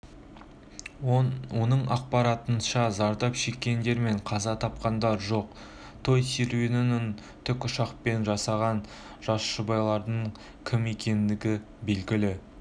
оның ақпарынша зардап шеккендер мен қаза тапқандар жоқ той серуенін тікұшақпен жасағанжас жұбайлардың кім екендігі белгілі